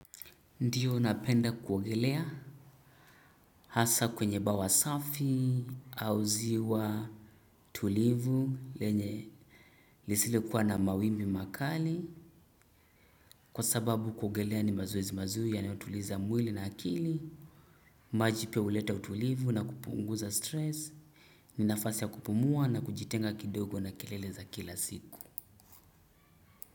Ndio napenda kuogelea hasa kwenye bawasafi, au ziwa tulivu lenye lisilo kuwa na mawimbi makali. Kwa sababu kuogelea ni mazoezi mazuri yanayotuliza mwili na akili maji pia huleta utulivu na kupunguza stress. Ninafasi ya kupumua na kujitenga kidogo na kelele za kila siku.